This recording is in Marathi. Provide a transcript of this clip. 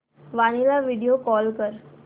वीणा ला व्हिडिओ कॉल कर